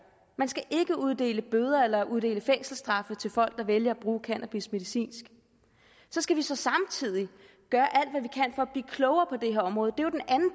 man skal ikke uddele bøder eller uddele fængselsstraffe til folk der vælger at bruge cannabis medicinsk vi skal så samtidig gøre at blive klogere på det her område